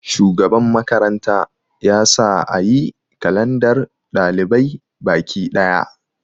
shugaban makaranta ya sa a yi kalandar ɗalibai Bakiɗaya